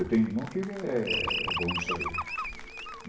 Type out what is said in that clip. Eu tenho um irmão que ele é bom nisso aí.